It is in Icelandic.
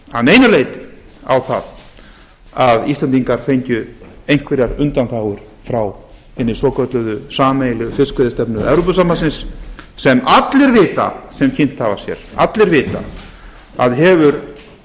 að neinu leyti á að íslendingar fengju einhverjar undanþágur frá hinni svokölluðu sameiginlegu fiskveiðistefnu evrópusambandsins sem allir vita sem kynnt hafa sér hefur